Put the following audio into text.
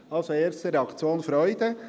Die erste Reaktion ist also Freude.